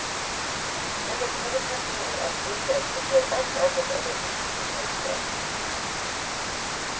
Hennes hovedpersoner er kvinner som gjør alt annet enn å uttrykke taushet.